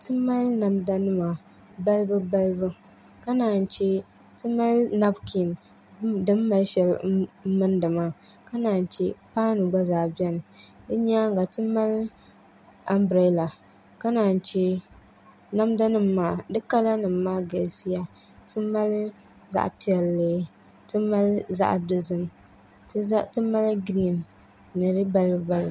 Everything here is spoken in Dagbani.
Timali namdanima ka naa che timali nabikin di 'ali shɛli n 'ali milindimaa ka naanchɛ paan nu gba zaa bɛnidi nyaanŋa ti mali anbiraalanima ka naan che namdanim maa di kalanim maa galisiya timali zaɣ'piɛlli zaɣdozimmali giriin ni di balibu balibu